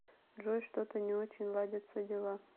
джой что то не очень ладятся дела